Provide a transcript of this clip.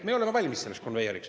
Meie oleme valmis selleks konveieriks.